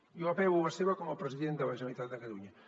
jo apel·lo a la seva com a president de la generalitat de catalunya